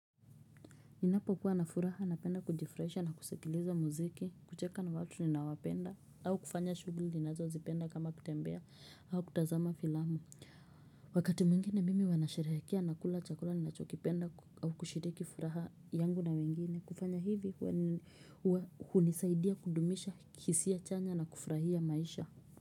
Ninapokuwa na furaha napenda kujifurahisha na kusikiliza muziki, kucheka na watu ninaowapenda, au kufanya shughuli ninazozipenda kama kutembea, au kutazama filamu. Wakati mwingine mimi wanasherehekea na kula chakula ninachokipenda au kushiriki furaha yangu na wengine, kufanya hivi hunisaidia kudumisha hisia chanya na kufurahia maisha.